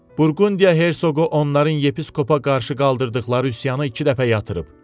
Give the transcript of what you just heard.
Burqundiya hersoqu onların yepiskopa qarşı qaldırdıqları üsyanı iki dəfə yatırıb.